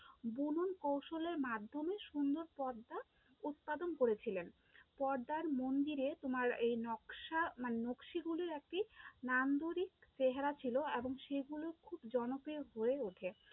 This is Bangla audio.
বুনন কৌশলের মাধ্যমে সুন্দর পর্দা উৎপাদন করেছিলেন, পর্দার মন্দিরে তোমার এই নকশা মানে নকশিগুলির একটি নামধরিক চেহারা ছিল এবং সেগুলো খুব জনপ্রিয় হয়ে ওঠে